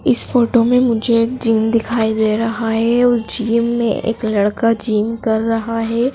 इस फोटो में मुझे एक जिम दिखाई दे रहा है उस जिम में एक लड़का जिम कर रहा है।